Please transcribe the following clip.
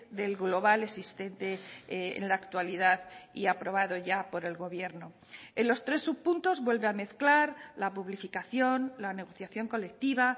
del global existente en la actualidad y aprobado ya por el gobierno en los tres subpuntos vuelve a mezclar la publificación la negociación colectiva